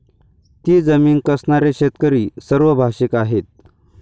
ती जमीन कसणारे शेतकरी सर्वभाषिक आहेत.